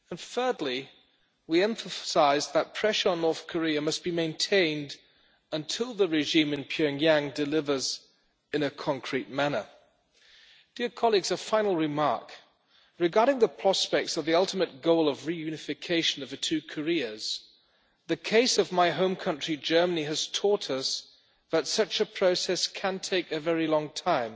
Thirdly, we emphasised that pressure on North Korea must be maintained until the regime in Pyongyang delivers in a concrete manner. A final remark regarding the prospects of the ultimate goal of reunification of the two Koreas, the case of my home country, Germany, has taught us that such a process can take a very long time,